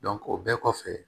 o bɛɛ kɔfɛ